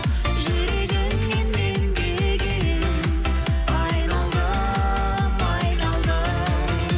жүрегіңнен мен деген айналдым айналдым